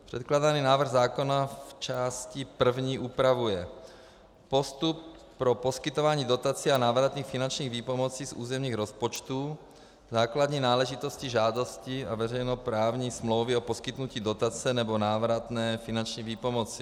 Předkládaná návrh zákona v části první upravuje postup pro poskytování dotací a návratných finančních výpomocí z územních rozpočtů, základní náležitostí žádostí a veřejnoprávní smlouvy o poskytnutí dotace nebo návratné finanční výpomoci.